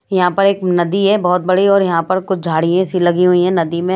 यहां पर एक नदी है बहुत बड़ी और यहां पर कुछ झाड़ियां सी लगी हुई हैं नदी में--